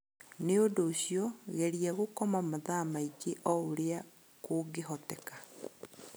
Nĩ ũndũ ũcio, geria gũkoma mathaa maingĩ o ũrĩa kũngĩhoteka.